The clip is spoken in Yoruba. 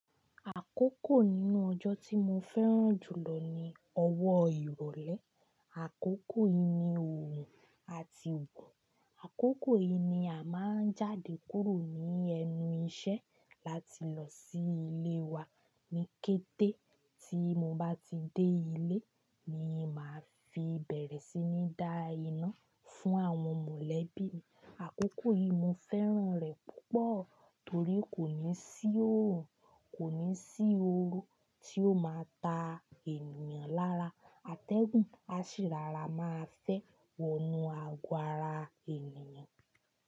Àkókò nínú ọjọ́ tí mo fẹ́ràn jùlọ ni ọwọ́ ìrọ̀lẹ́. Àkókò yìí ni òòrùn à ti wo. Àkókò yìí ni a máa ń jáde kúrò ní ẹnu iṣẹ́ láti lọ sí ilé wa ní kété. Tí mo bá ti dé ilé ni màá fi bẹ̀rẹ̀ sí ní dá iná fún àwọn mọ̀lẹ́bí mi. Àkókò yìí mo fẹ́ràn rẹ̀ púpọ̀ torí kò ní sí òòrùn, kò ní sí ooru tí ó máa ta ènìyàn lára. Atẹ́gùn á sì rora máa fẹ́ wọnú aago ára ènìyàn.